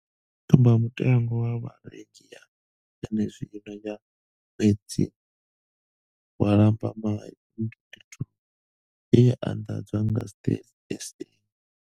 Tsumba mutengo wa Vharengi ya zwenezwino ya ṅwedzi wa Lambamai 2022 ye ya anḓadzwa nga Stats SA.